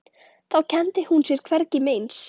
Þá kenndi hún sér hvergi meins.